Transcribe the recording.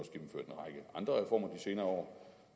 af reformer de senere år